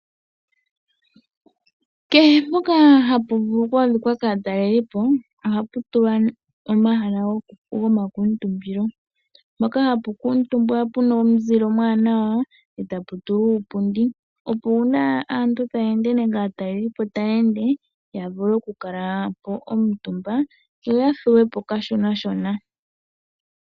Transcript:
Kehe mpoka hapu vulu oku adhika kaatalelipo, ohapu tulwa omahala gomakuutumbilo mpoka hapu kalwa omutumba pu na omuzile omuwanawa eta pu tulwa uupundi opo uuna aantu taya ende nenge aatalelipo taya ende, ya vule okukala po omutumba yo ya thuwe po kashonashona.